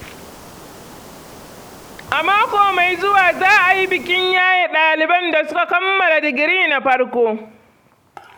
A mako mai zuwa za a yi bikin yaye ɗaliban da suka kamala digiri na farko.